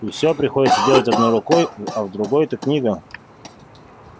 и всё приходится делать одной рукой а в другой-то книга